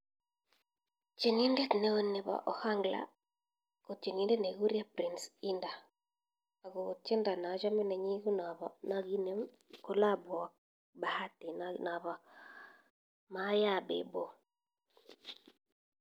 Tyenindet neeo nebo ohangla ko tyenindet nikikuree Prince Inda ako tyendo nachame nenyi ko na kinem collabo ak Bahati nabo maye a debo.